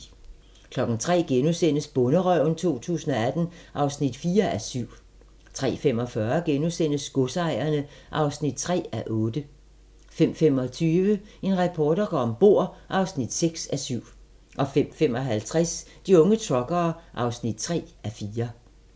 03:00: Bonderøven 2018 (4:7)* 03:45: Godsejerne (3:8)* 05:25: En reporter går om bord (6:7) 05:55: De unge truckere (3:4)